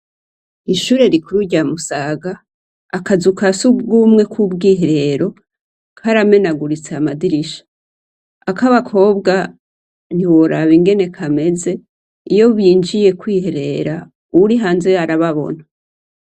Ishure rikuru rya Musaga, akazu ka sugumwe k'ubwiherero, karamenaguritse amadirisha. akabakobwa ntiworaba ingen kameze iyo binjiye kwiherera, uwuri hanze arababona.